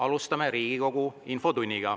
Alustame Riigikogu infotundi.